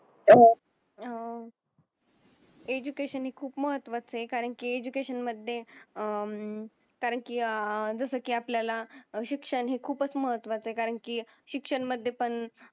अह एज्युकेशन हे खूप महत्वाच आहे कारण की एज्युकेशन मध्ये अह कारण की अह जस की आपल्याला अह शिक्षण हे खूपच महत्वाच आहे कारण की शिक्षणमध्ये पण